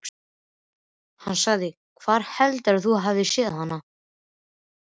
Hann sagði: Hvar heldurðu að þú hafir séð hana?